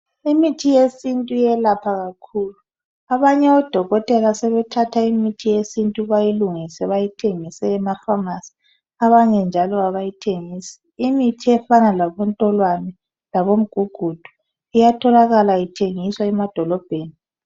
IMITHI YESINTU IYELAPHA KAKHULU ABANYE ODOKOTELA SEBETHATHA IMITHI YESINTUBAYILUNGISE BAYITHENGISE EMAFSAMASI BANYE NJALO ABAYITHENGISI, IMITHI EFANA LABO NTOLWANE LABOMGUGUDU IYATHOLAKALAITHENGISWA EMADOLOBHENI